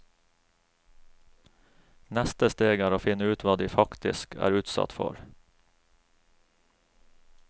Neste steg er å finne ut hva de faktisk er utsatt for.